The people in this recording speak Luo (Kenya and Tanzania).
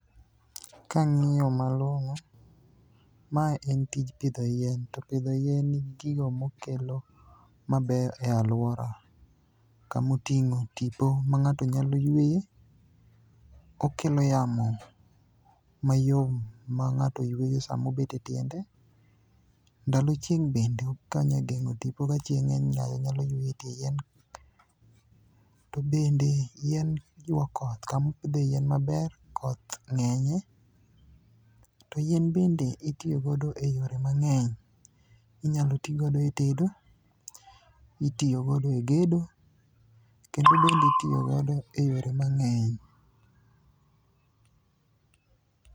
Kang'iyo malong'o, mae en tij pidho yien, to pidho yien nigi gigo mokelo mabeyo e alwora. Kamoting'o tipo ma ng'ato nyalo yueye, okelo yamo mayom ma ng'ato yueyo samobet e tiende ndalo chieng' bende okonye geng'o tipo ka chieng' ng'eny ng'ato nyalo yueyo e tie yien. To bende yien ywa koth, kamopidhe yien maber koth ng'enye. To yien bende itiyo godo e yore mang'eny, inyalo ti godo e tedo, itiyo godo e gedo, kendo bende itiyo godo e yore mang'eny